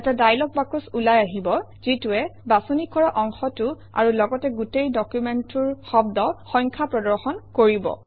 এটা dialog box ওলাই আহিব যিটোৱে বাছনি কৰা অংশটো আৰু লগতে গোটেই ডকুমেণ্টটোৰ শব্দ সংখ্যা প্ৰদৰ্শন কৰিব